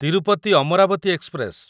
Tirupati Amaravati express